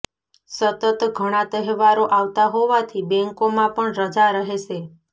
સતત ઘણા તહેવારો આવતા હોવાથી બેંકોમાં પણ રજા રહેશે